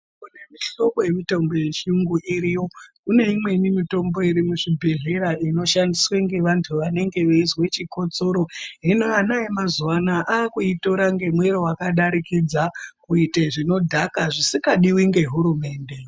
Kune mihlobo yemitombo yechiyungu iriyo kune imweni mitombo irimuzvibhedhlera inoshandiswe ngevantu vanenge veizwe chikotsoro hino ana emazuwa anaya akuitora nemwero wakadarikidza kuite zvinodhaka zvisingadiwi ngehurumende.